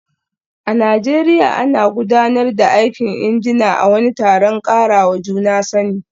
A Najeriya, ana gudanar da aikin injina a wani taron karawa juna sani